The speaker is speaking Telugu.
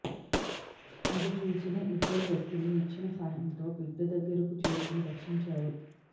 అది చూసిన ఇద్దరు వ్యక్తులు నిచ్చెన సాయంతో బిడ్డ దగ్గరకు చేరుకొని రక్షించారు